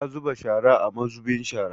Ta zuba shara a muzubin shara.